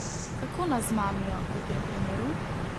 Kako nas zmamijo v tem primeru?